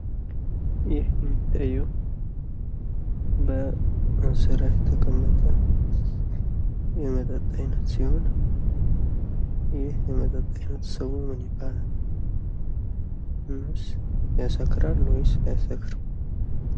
ይህ የሚታየው በ እንስራ የተቀመጠ የመጠጥ አይነት ሲሆን፤ ይህ የመጠጥ አይነት ስሙ ምን ያባላል? እናስ ያሰክራል ወይስ አያሰክርም?